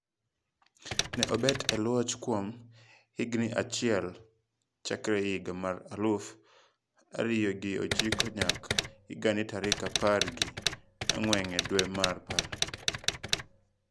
Ne obet e loch kuom higni auchiel chakre higa mar aluf ariyo gi ochiko nyaka higani tarik apar gi ang`wen dwe mar apar.